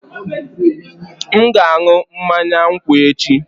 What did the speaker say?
M ga-aṅụ mmanya nkwụ echi